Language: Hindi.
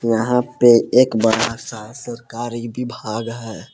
यहा पे एक बड़ा सा सरकारी विभाग है।